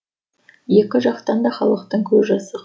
екі жақтан да халықтың көз жасық